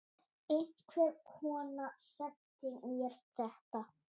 Einhver kona sendi mér þetta.